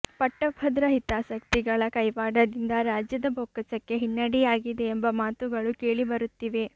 ಪಟ್ಟಭದ್ರ ಹಿತಾಸಕ್ತಿಗಳ ಕೈವಾಡದಿಂದ ರಾಜ್ಯದ ಬೊಕ್ಕಸಕ್ಕೆ ಹಿನ್ನಡೆಯಾಗಿದೆ ಎಂಬ ಮಾತುಗಳು ಕೇಳಿಬರುತ್ತಿವೆ